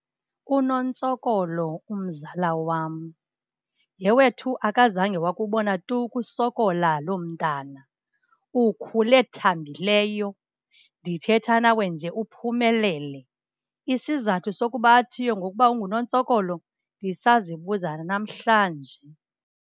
UNontsokolo, umzala wam. Yhe wethu, akazange wakubona tu ukusokola loo mntana, ukhule thambileyo! Ndithetha nawe nje uphumelele. Isizathu sokuba athiywe ngokuba unguNontsokolo ndisazibuza nanamhlanje.